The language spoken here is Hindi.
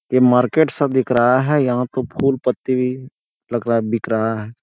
ए मार्केट सा दिख रहा है यहाँ खूब-खूब पत्ती बिक रहा है।